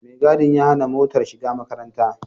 Mai gadin ya hana motar shiga makarantar.